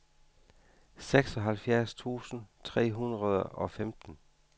seksoghalvfjerds tusind tre hundrede og femten